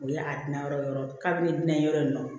O ye a di na yɔrɔ yɔrɔ kabi ne bɛna yɔrɔ in na